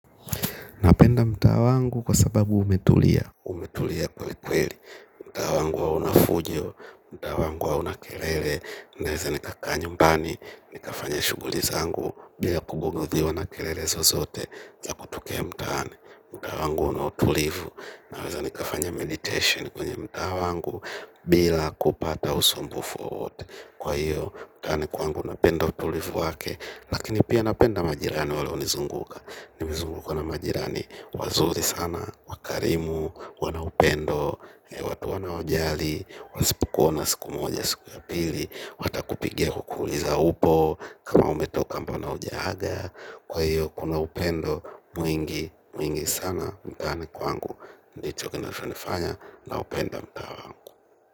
Napenda mtaa wangu kwa sababu umetulia. Umetulia kweliweli. Mtaa wangu hauna fujo. Mtaa wangu hauna kelele. Naweza nikakaa nyumbani. Nikafanya shughuli zangu bila kubugudhiwa na kelelezo zote za kutokea mtaa wangu. Mtaa wangu una utulivu. Naweza nikafanya meditation kwenye mtaa wangu bila kupata usumbufu wowote. Kwa hiyo mtaani kwangu napenda utulivu wake. Lakini pia napenda majirani wale hunizunguka. Nimezungukwa na majirani wazuri sana, wakarimu wanaupendo watu wanaojali wasipukuona siku moja siku ya pili watakupigia kukuuliza upo kama umetoka mbona ujaaga kwa hiyo kunaupendo mwingi, mwingi sana mtaani kwangu, ndichokina chonifanya, naupenda mtaa.